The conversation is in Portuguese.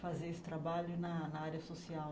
fazer esse trabalho na na área social.